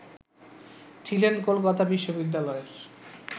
ছিলেন কলকাতা বিশ্ববিদ্যালয়ের